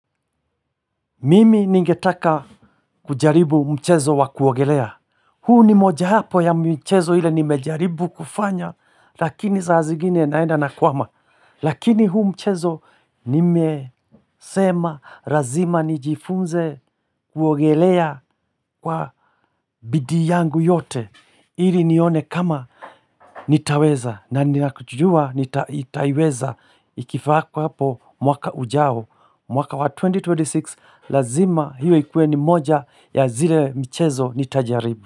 Mimi ningetaka kujaribu mchezo wa kuogelea huu ni mmoja hapo ya michezo ile nimejaribu kufanya lakini saa zingine naenda na kwama Lakini huu mchezo nimesema lazima nijifunze kuogelea kwa bidii yangu yote Ili nione kama nitaweza na ninajua nitaiweza ikifako hapo mwaka ujao mwaka wa 2026 lazima hiyo ikuwe ni moja ya zile mchezo ni tajaribu.